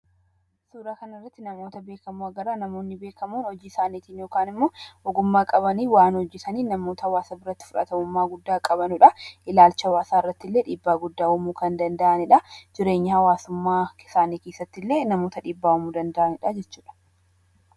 Suuraa kanarratti namoota beekamoo agarra. Namoonni beekamoon hojii isaaniin yookaan immoo ogumaa qabaniin hojjetanii namoota hawaasa bitmratti fudhatanummaa guddaa qabanidha. Ilaalcha hawaasaatiin illee namoota dhiibbaa guddaa uumuu danda’anidha. Jireenya hawwaasummaa isaanii keessattilee namoota dhiibbaa uumuu danda’anidha jechuudha.